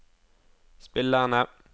spillerne